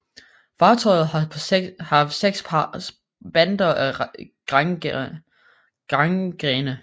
Fartøjet har haft seks spanter af grangrene